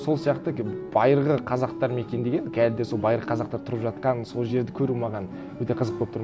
сол сияқты байырғы қазақтар мекендеген қазір де сол байыр қазақтар тұрып жатқан сол жерді көру маған өте қызық болып тұр